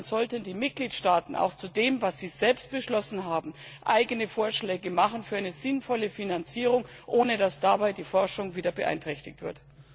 Aber dann sollten die Mitgliedstaaten auch zu dem, was sie selbst beschlossen haben, eigene Vorschläge für eine sinnvolle Finanzierung machen, ohne dass dabei die Forschung wieder beeinträchtigt wird.